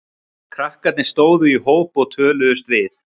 Krakkarnir stóðu í hóp og töluðust við.